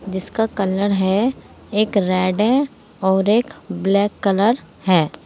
जिसका कलर है एक रेड है और एक ब्लैक कलर है।